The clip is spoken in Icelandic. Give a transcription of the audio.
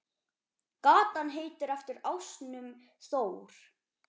Gatan heitir eftir ásnum Þór.